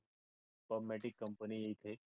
परमतीक company इथे